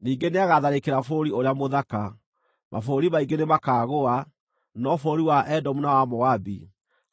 Ningĩ nĩagatharĩkĩra Bũrũri ũrĩa Mũthaka. Mabũrũri maingĩ nĩmakaagũa, no bũrũri wa Edomu na wa Moabi,